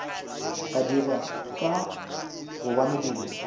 ba dira ka gobane dilo